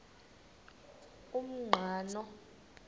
umqhano